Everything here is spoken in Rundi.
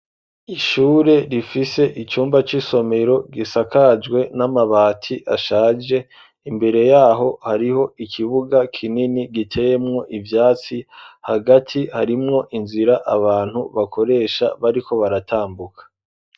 Ishure rifise icumba c'isomero gisakajwe n'amabati ashaje imbere yaho hariho ikibuga kinini giteyemwo ivyatsi hagati harimwo inzira abantu bakoresha bariko baratambuka.